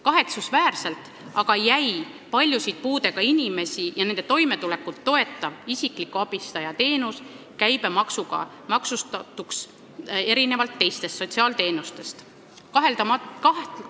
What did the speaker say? Kahetsusväärselt aga jäi paljude puudega inimeste toimetulekut toetav isikliku abistaja teenus erinevalt teistest sotsiaalteenustest käibemaksuga maksustatuks.